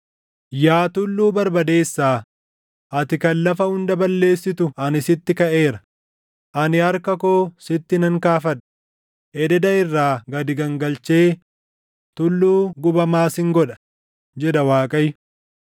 “Yaa tulluu barbadeessaa, ati kan lafa hunda balleessitu ani sitti kaʼeera; ani harka koo sitti nan kaafadha; ededa irraa gad gangalchee tulluu gubamaa sin godha” jedha Waaqayyo.